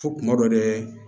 Fo kuma dɔ dɛ